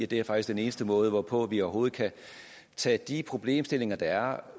det er faktisk den eneste måde hvorpå vi overhovedet kan tage de problemstillinger der er